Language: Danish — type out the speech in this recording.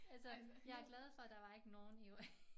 Altså jeg er glad for der var ikke nogen i